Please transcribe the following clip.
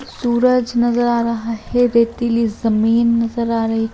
सूरज नजर आ रहा है रेतीली जमीन नजर आ रही--